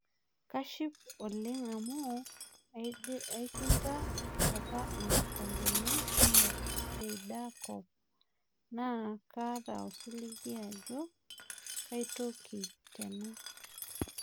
Kaship oleng' amu aishinda apakikombeni kumok teida kop naaa kaata osiligi ajo kaitoki tena